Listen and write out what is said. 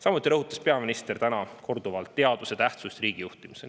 Samuti rõhutas peaminister täna korduvalt teaduse tähtsust riigi juhtimisel.